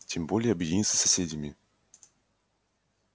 тем более объединиться с соседями